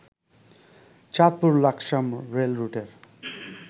Chandpur Laksam রেলরুটের